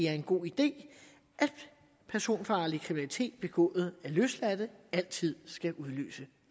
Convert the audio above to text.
er en god idé at personfarlig kriminalitet begået af løsladte altid skal udløse